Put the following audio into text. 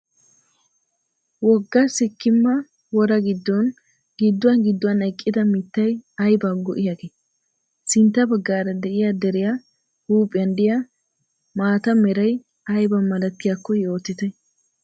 Wogga sikkimma woraa giddon gidduwan gidduwan eqqida mittay ayibaa go'iyaagee? Sintta baggaara diya deriya huuphiyan diya maataa meray ayibaa malatiyaakko yoottite.